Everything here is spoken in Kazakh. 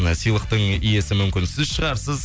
сыйлықтың иесі мүмкін сіз шығарсыз